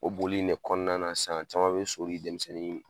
O boli in ne kɔnɔna na sisan caman bɛ so di denmisɛnnin